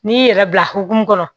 N'i y'i yɛrɛ bila hokumu kɔnɔ